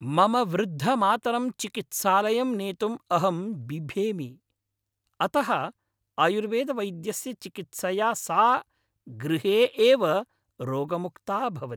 मम वृद्धमातरं चिकित्सालयं नेतुम् अहं बिभेमि, अतः आयुर्वेदवैद्यस्य चिकित्सया सा गृहे एव रोगमुक्ता भवति।